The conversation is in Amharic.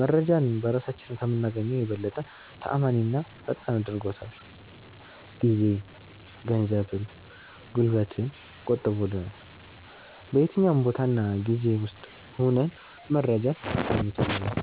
መረጄን በራሳችን ከምናገኘው የበለጠ ተአማኒና ፈጣን አድርጎታል። ጊዜን፣ ገንዘብን፣ ጉልበትን ቆጥቦልናል። በየትኛውም ቦታ እና ጊዜ ውስጥ ሁነን መረጃን አስገኝቶልናል።